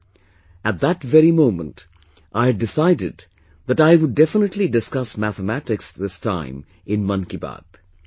At that very moment I had decided that I would definitely discuss mathematics this time in 'Mann Ki Baat'